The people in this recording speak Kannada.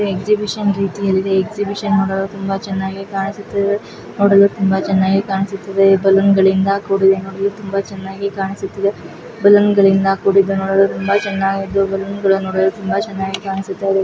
ಎಕ್ಸಿಬಿಷನ್ ರೀತಿಯಲ್ಲಿ ಎಕ್ಸಿಬಿಷನ್ ತುಂಬಾ ಚೆನ್ನಾಗಿ ಕಾಣಿಸುತಲಿದೆ ನೋಡಲು ತುಂಬ ಚೆನ್ನಾಗಿ ಕಾಣಿಸುತ್ತಿದೆ ಬಲೂನ್ಗಳಿಂದ ಕೂಡಿದೆ ನೋಡಲು ತುಂಬಾ ಚೆನ್ನಗಿ ಕಾಣಿಸುತ್ತಿದೆ ಬಲೂನ್ಗಳಿಂದ ಕೂಡಿದೆ ನೋಡಲು ತುಂಬಾ ಚೆನ್ನಗಿದ್ದು ಬಲೂನ್ಗಳು ನೋಡಲು ತುಂಬಾ ಚೆನ್ನಾಗಿ ಕಾಣಿಸುತ್ತಿದೆ.